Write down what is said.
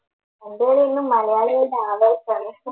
പന്ത് കളിയെന്നും മലയാളികളുടെ ആവേശമാണ്